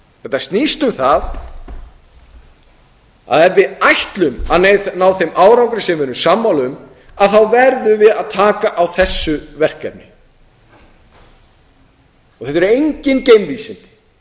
þetta snýst um það að ef við ætlum að ná þeim árangri sem við erum sammála um verðum við að taka á þessu verkefni þetta eru engin geimvísindi